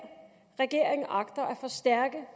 regeringen agter